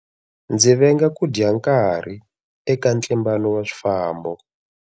Ndzi venga ku dya nkarhi eka ntlimbano wa swifambo.